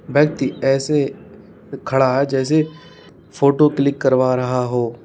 व्यक्ति ऐसे खड़ा है जैसे फोटो क्लिक करवा रहा हो।